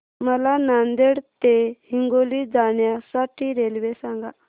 मला नांदेड ते हिंगोली जाण्या साठी रेल्वे सांगा